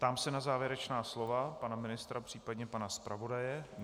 Ptám se na závěrečná slova pana ministra, případně pana zpravodaje.